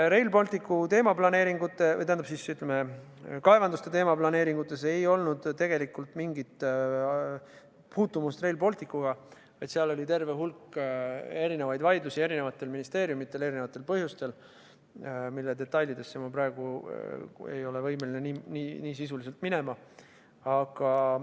Rail Balticu kaevanduste teemaplaneeringutel ei olnud tegelikult mingit puutumust Rail Balticuga, vaid seal oli terve hulk eri vaidlusi eri ministeeriumidel eri põhjustel, mille detailidesse ma praegu ei ole võimeline sisuliselt minema.